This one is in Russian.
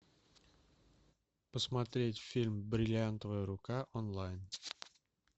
посмотреть фильм бриллиантовая рука онлайн